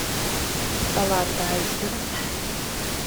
салат айсберг